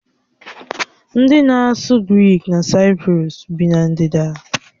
Ndị na-asụ Grik na Saịprọs bi na ndịda